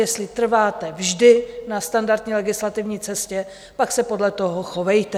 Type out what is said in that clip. Jestli trváte vždy na standardní legislativní cestě, pak se podle toho chovejte.